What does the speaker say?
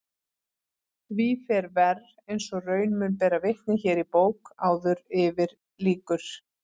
Því fer verr eins og raun mun bera vitni hér í bók áður yfir lýkur.